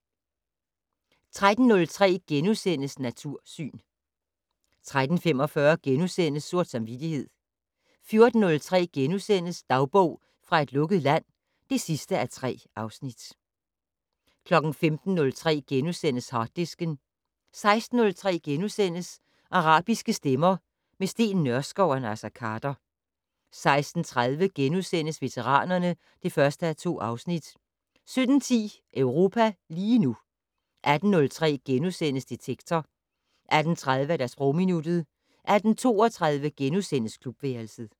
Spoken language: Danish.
13:03: Natursyn * 13:45: Sort Samvittighed * 14:03: Dagbog fra et lukket land (3:3)* 15:03: Harddisken * 16:03: Arabiske stemmer - med Steen Nørskov og Naser Khader * 16:30: Veteranerne (1:2)* 17:10: Europa lige nu 18:03: Detektor * 18:30: Sprogminuttet 18:32: Klubværelset *